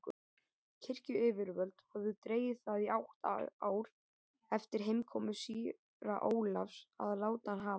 Kirkjuyfirvöld höfðu dregið það í átta ár eftir heimkomu síra Ólafs að láta hann hafa